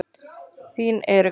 Þín Erika.